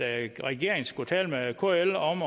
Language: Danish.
at regeringen skal tale med kl om